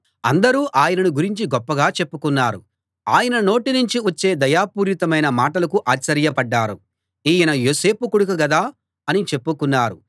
అందరూ ఆయనను గురించి గొప్పగా చెప్పుకున్నారు ఆయన నోటి నుంచి వచ్చే దయాపూరితమైన మాటలకు ఆశ్చర్యపడ్డారు ఈయన యోసేపు కొడుకు గదా అని చెప్పుకున్నారు